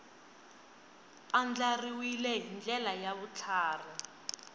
andlariwile hi ndlela ya vutlhari